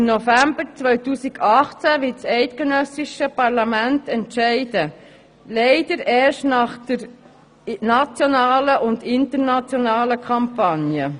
Im November 2018 wird das eidgenössische Parlament darüber befinden, leider erst nach der nationalen und internationalen Kampagne.